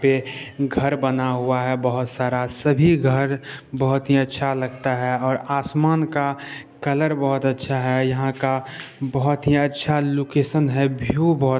पे घर बना हुआ है बोहोत सारा सभी घर बहुत ही अच्छा लगता है ओर आसमान का कलर बहुत अच्छा है यहा का बहुत ही अच्छा लोकैशन है। व्यू बहुत--